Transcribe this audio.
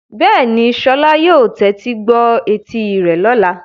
Bẹ́ẹ̀ni, Sola yóò tẹ́tí gbọ́ etí rẹ̀ lọ́la.